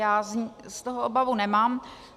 Já z toho obavu nemám.